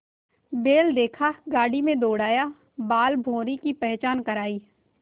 बैल देखा गाड़ी में दौड़ाया बालभौंरी की पहचान करायी